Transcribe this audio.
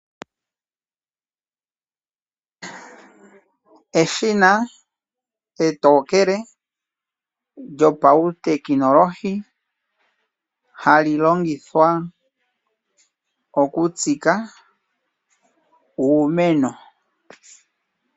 Eshina etokele lyopawu tekinolohi hali longithwa oku tsika uumeno.